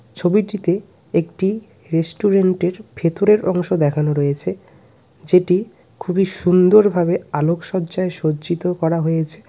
ছবিটিতে একটি রেস্টুরেন্টের ভেতরের অংশ দেখানো রয়েছে যেটি খুবই সুন্দরভাবে আলোকসজ্জায় সজ্জিত করা হয়েছে .]